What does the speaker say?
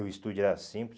E o estúdio era simples.